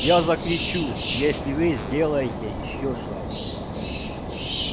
я закричу если вы сделаете ещё шаг